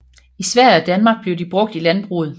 I Sverige og Danmark blev de brugt i landbruget